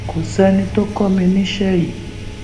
kò sẹni tó kọ mi níṣẹ yìí